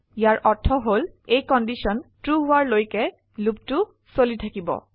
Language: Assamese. ইয়াৰ অৰ্থ হল এই কন্ডিশন ট্ৰু হোৱাৰ লৈকে লুপটো চলি থাকিব